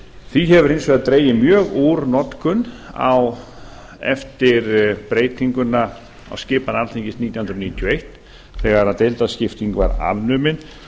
því hefur hins vegar dregið mjög úr notkun eftir breytinguna á skipan alþingis nítján hundruð níutíu og eitt þegar deildaskipting var afnumin